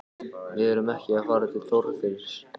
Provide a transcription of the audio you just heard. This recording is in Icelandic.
Við erum ekki að fara til þorpsins